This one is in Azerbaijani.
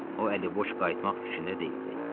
O əliboş qayıtmaq fikrində deyildi.